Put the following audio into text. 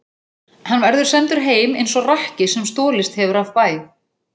Hann verður sendur heim eins og rakki sem stolist hefur af bæ.